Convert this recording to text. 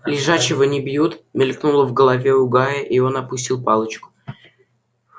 лежачего не бьют мелькнуло в голове у гарри и он опустил палочку